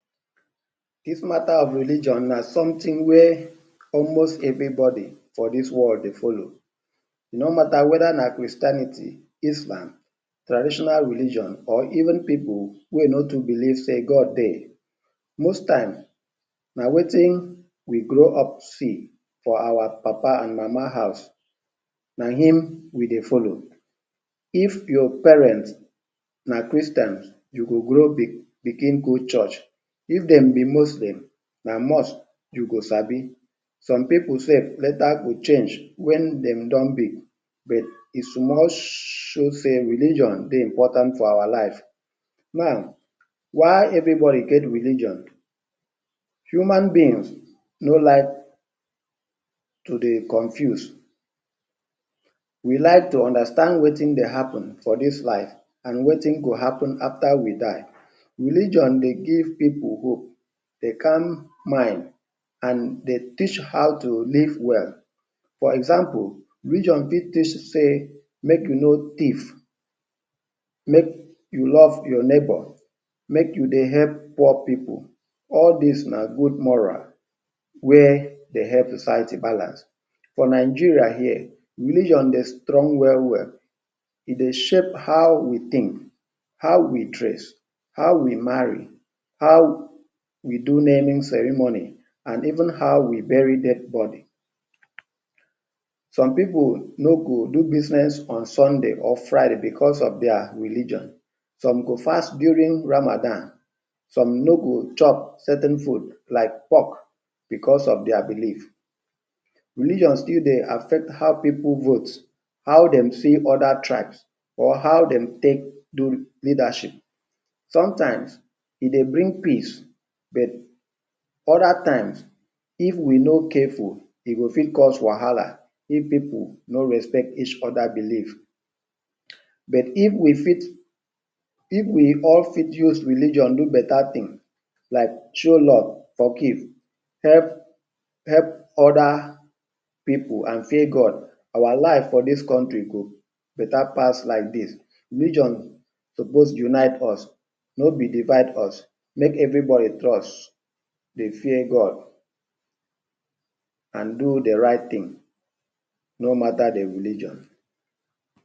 Dis mata of religion na somtin wey almost every body for dis world dey follow, e no mata weda na Christianity, islam or traditional religion or even pipul wey no too belief sey god dey. Na wetin we grow up see for our papa and mama house na in we dey follow, if your parent na Christian, you go grow bigin go church, if dem be muslim, na mosque you go sabi, some pipul sef later go change wen dem don big but e most show sey religion dey important for our life now, why every body get religion? human being no like to dey confuse. We like to understand wetin dey happen for dis life abnd wetin dey happen after we die religion dey give pipul hope dey calm mind e dey teach pipul how to live well, for example, religion fit teach sey make you no tief, make you love your neibour, make you help poor pipul, all dis na good moral wey dey help society balance. Nigeria here, religion dey strong, e dey shape how we tink, how we dress, how we mari, how we do naming ceremony and even how we buried dead body. Some pipul no go do bizness on Sunday or Friday because of dia religion, some go fast during Ramadan some no go chop sa ten food like pock because of dia belief, religion still dey affect how pipul vote, how dey see other tribe, how dem take do leadership. Sometime, e dey bring peace other time if we no careful e go fit cause wahala if we no respect oda pipul belief but if we all fit use religion do beta tin like show love, help oda pipul and fear god, our life for dis country go beta pas like dis. Religion suppose unite us no be devide us make every body trust fear god and do the right tin no mata the religion